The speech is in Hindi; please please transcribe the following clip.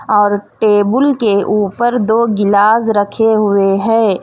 और टेबुल के ऊपर दो गिलास रखें हुए हैं।